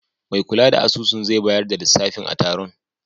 Mai kula da asusun zai bayar da lissafi a taron.